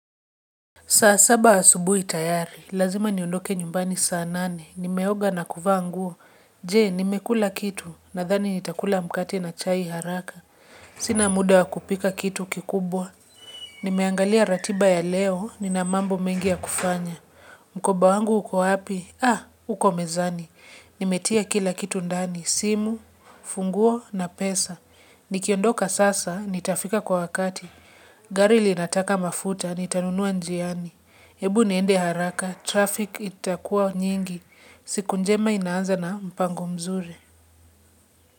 Saa saba asubui tayari, lazima niondoke nyumbani saa nane, nimeoga na kuvaa nguo. Je, nimekula kitu, nadhani nitakula mkate na chai haraka. Sina muda wa kupika kitu kikubwa. Nimeangalia ratiba ya leo, nina mambo mengi ya kufanya. Mkoba wangu uko wapi? Ah, uko mezani. Nimetia kila kitu ndani, simu, funguo na pesa. Nikiondoka sasa, nitafika kwa wakati. Gari linataka mafuta, nitanunua njiani. Hebu niende haraka, traffic itakuwa nyingi, siku njema inaanza na mpango mzuri.